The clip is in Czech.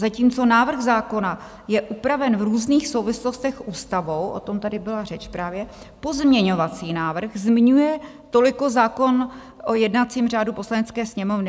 Zatímco návrh zákona je upraven v různých souvislostech ústavou - o tom tady byla řeč právě - pozměňovací návrh zmiňuje toliko zákon o jednacím řádu Poslanecké sněmovny.